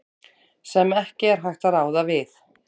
sem ekki er hægt að ráða við.